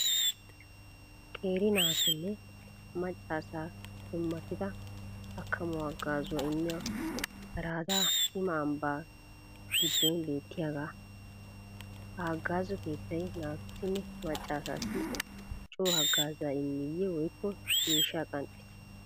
Qeeri naatunne macca asaa dummatida akkamuwa haggazzuwa immiya Arada sima ambba giddon beettiyaaga. Ha haggazzo keettay naatussinne macca asassi coo hagazza immiyye woykko miishshaa qanxxissi?